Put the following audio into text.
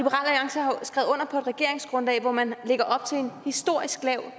regeringsgrundlag hvor man lægger op til en historisk lav